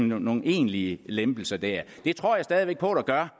nogen egentlige lempelser der det tror jeg stadig væk på der gør